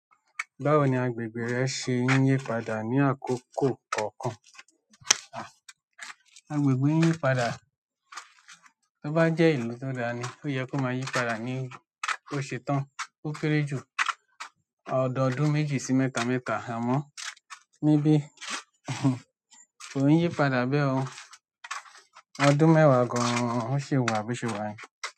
Báwo ni agbègbè rẹ ṣe ń yí padà ní àkókò kọ̀ọ̀kan? Agbègbè ń yí padà, tó bá jẹ́ ìlú tó dáa ni, ó yẹ kó máa yí padà ní oṣù kán, ó kére jù ọdọdún méjì sí mẹ́ta mẹ́ta àmọ́ níbí kò ń yí padà bẹ́ẹ̀ o. Ọdún mẹ́wàá gan-an ó ṣi wà bí o ṣe wà.